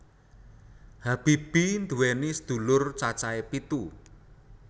Habibie nduwèni sedulur cacahe pitu